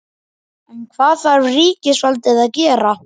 En hvað þarf ríkisvaldið að gera?